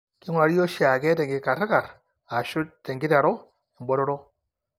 Keing'urari oshiake tenkikarikar ashu tenkiteru embotoro.